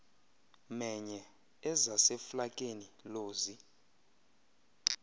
menye ezaseflakeni lozi